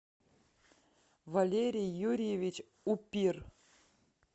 валерий юрьевич упир